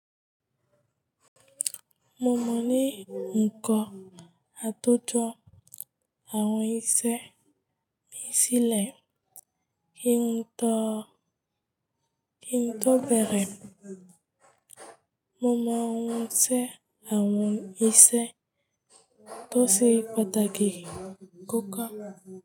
Mo mọ ní ǹkọ́ á tó jọ àwọn iṣẹ́ mi sílẹ̀ kí n tó, kí n tó bẹ̀rẹ̀. Mo mọ àwọn iṣẹ́ àwọn iṣẹ́ tó sì pàtàkì kò kán.